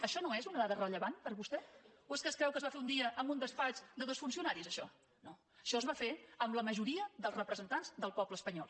això no és una dada rellevant per vostè o és que es creu que es va fer un dia en un despatx de dos funcionaris això no això es va fer amb la majoria dels representants del poble espanyol